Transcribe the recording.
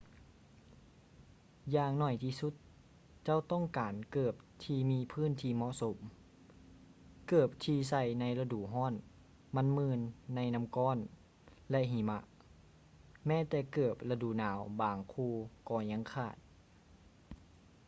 ຢ່າງໜ້ອຍທີ່ສຸດເຈົ້າຕ້ອງການເກີບທີ່ມີພື້ນທີ່ເໝາະສົມ ເກີບທີ່ໃສ່ໃນລະດູຮ້ອນມັກມື່ນໃນນໍ້າກ້ອນ ແລະ ຫິມະ ແມ້ແຕ່ເກີບລະດູໜາວບາງຄູ່ກໍຍັງຂາດ